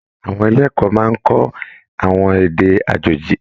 Àwọn ilé ẹ̀kọ́ máa n kọ àwọn èdè àjòjì.